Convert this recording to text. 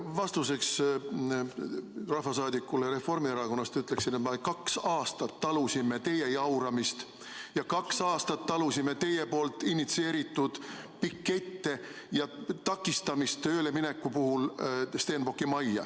Vastuseks rahvasaadikule Reformierakonnast ütleksin, et kaks aastat me talusime teie jauramist ja kaks aastat talusime teie initsieeritud pikette ja takistamist Stenbocki majja tööle minekul.